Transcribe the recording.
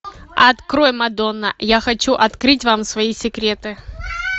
открой мадонна я хочу открыть вам свои секреты